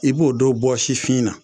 I b'o don bɔsifin na